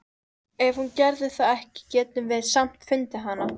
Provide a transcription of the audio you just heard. Ef hún gerði það ekki getum við samt fundið hana.